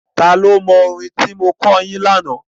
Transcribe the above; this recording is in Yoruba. Ta ni ó mọ orin tí mo kọ́ yín lánàá?